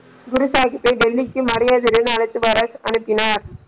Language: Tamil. குருசாகிப்பை டெல்லிக்கு மரியாதை உடன் அழைத்து வர அனுப்பினார்.